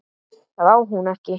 Það á hún ekki.